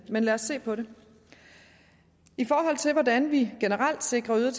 men lad os se på det i forhold til hvordan vi generelt sikrer øget